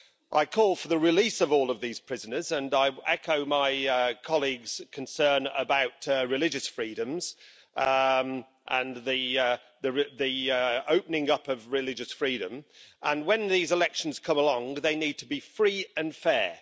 I call for the release of all of these prisoners and I echo my colleagues' concern about religious freedoms and the opening up of religious freedom, and when these elections come along they need to be free and fair.